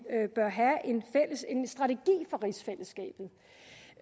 bør have en strategi for rigsfællesskabet